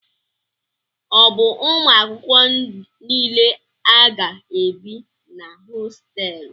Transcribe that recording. O bu Ụmụ akwụkwọ niile a ga-ebi na hostéélu?